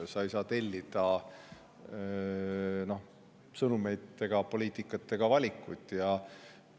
Ei saa tellida sõnumeid ega poliitikat ega valida.